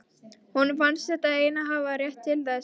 Honum fannst hann einn hafa rétt til þess.